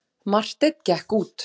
Marteinn gekk út.